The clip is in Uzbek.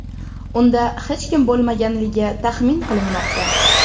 Unda hech kim bo‘lmaganligi taxmin qilinmoqda.